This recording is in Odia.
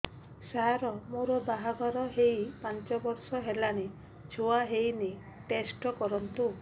ସାର ମୋର ବାହାଘର ହେଇ ପାଞ୍ଚ ବର୍ଷ ହେଲାନି ଛୁଆ ହେଇନି ଟେଷ୍ଟ କରନ୍ତୁ